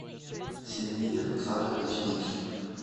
сергей александрович дикий